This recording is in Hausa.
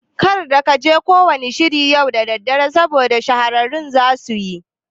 Kar kaje ko wanna shiri yau dare saboda shahararru zasuyi